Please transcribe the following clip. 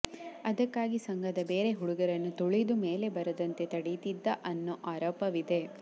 ಅದಕ್ಕಾಗಿ ಸಂಘದ ಬೇರೆ ಹುಡುಗರನ್ನು ತುಳಿದು ಮೇಲೆ ಬರದಂತೆ ತಡೀತಿದ್ದ ಅನ್ನೋ ಆರೋಪವಿದೆ